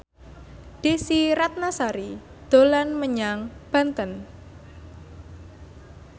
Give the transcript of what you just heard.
Desy Ratnasari dolan menyang Banten